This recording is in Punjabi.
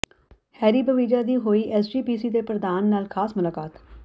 ਹੈਰੀ ਬਵੇਜਾ ਦੀ ਹੋਈ ਐਸਜੀਪੀਸੀ ਦੇ ਪ੍ਰਧਾਨ ਨਾਲ ਖਾਸ ਮੁਲਾਕਾਤ